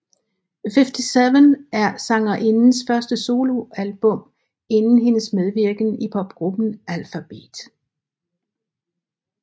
Fiftyseven er sangerindens første soloalbum siden hendes medvirken i popgruppen Alphabeat